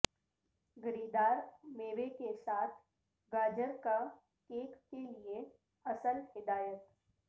گری دار میوے کے ساتھ گاجر کا کیک کے لئے اصل ہدایت